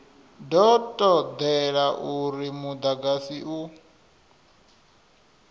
do todea uri mudagasi u